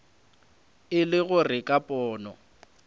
e le gore ka pono